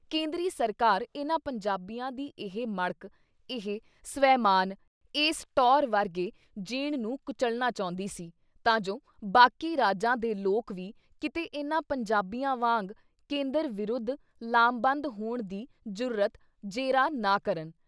ਕੇਂਦਰੀ ਸਰਕਾਰ ਇਨ੍ਹਾਂ ਪੰਜਾਬੀਆਂ ਦੀ ਇਹ ਮੜਕ, ਇਹ ਸਵੈਮਾਨ, ਇਸ ਟੌਅਰ ਵਰਗੇ ਜੀਣ ਨੂੰ ਕੁਚਲਣਾ ਚਾਹੁੰਦੀ ਸੀ ਤਾਂ ਜੋ ਬਾਕੀ ਰਾਜਾਂ ਦੇ ਲੋਕ ਵੀ ਕਿਤੇ ਇਨ੍ਹਾਂ ਪੰਜਾਬੀਆਂ ਵਾਂਗ ਕੇਂਦਰ ਵਿਰੁੱਧ ਲਾਮਬੰਦ ਹੋਣ ਦੀ ਜੁਰਅਤ, ਜੇਰਾ ਨਾ ਕਰਨ।